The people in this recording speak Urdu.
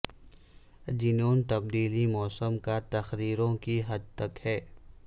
جنوں تبدیلی موسم کا تقریروں کی حد تک ہے